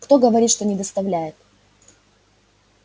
кто говорит что не доставляет